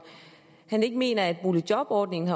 han ikke mener at boligjobordningen